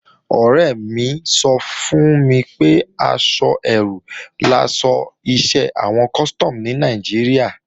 Ọ̀rẹ́ mi sọ fún mi pé àwọ eérú laṣọ iṣẹ́ àwọn Custom ní Nàìjíríà